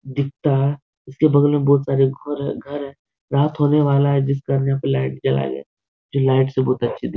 दिखता है। इसके बगल में बहुत सारे घोर है घर है। रात होने वाला है जिस घर में यहां पर लाइट जलाया गया है जो लाइट से बहुत अच्छी दिक् --